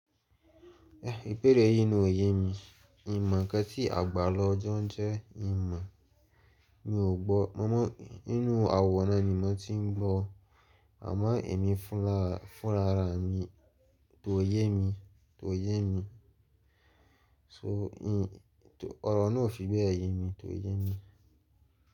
Ibeere yín ni òye mi. Hin mọ̀ nkan tí àgbàla ojọ ń jẹ́ hin mọ̀ mi ò gbọ́. Mo mọ̀ inú àwòrán ni mo ti ń gbọ́ àmọ́ èmi fúnra, fúnra rà mi, to yé mi, to yé mi. To hin, to ọ̀rọ̀ náà ò fi bẹ́ẹ̀ yé mi, to yé mi.